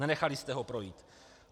Nenechali jste ho projít.